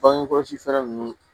Bange kɔlɔsi fɛɛrɛ ninnu